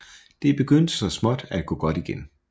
Det begyndte så småt at gå godt igen